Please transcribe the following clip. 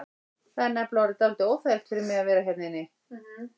Það er nefnilega orðið dálítið óþægilegt fyrir mig að vera hérna úti.